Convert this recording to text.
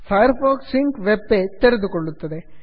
fire fox sync web page ತೆರೆದುಕೊಳ್ಳುತ್ತದೆ